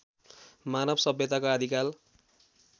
मानव सभ्यताको आदिकाल